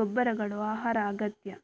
ಗೊಬ್ಬರಗಳು ಆಹಾರ ಅಗತ್ಯ